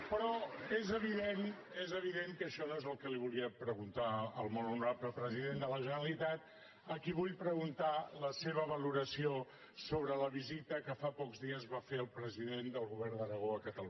però és evident és evident que això no és el que li volia preguntar al molt honorable president de la generalitat a qui vull preguntar la seva valoració sobre la visita que fa pocs dies va fer el president del govern d’aragó a catalunya